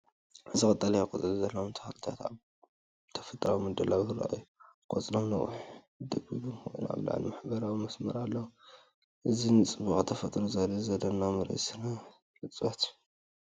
እዚ ቀጠልያ ቆጽሊ ዘለዎም ተኽልታት ኣብ ተፈጥሮኣዊ ምድላው ይረኣዩ። ቆጽሎም ነዊሕን ጸቢብን ኮይኑ፡ ኣብ ላዕሊ ሕብራዊ መስመር ኣለዎ። እዚ ንጽባቐ ተፈጥሮ ዘርኢ ዘደንቕ ምርኢት ስነ-ዕጽዋት'ዩ።